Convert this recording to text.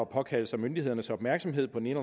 påkalde sig myndighedernes opmærksomhed på den